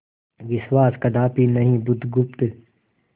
विश्वास कदापि नहीं बुधगुप्त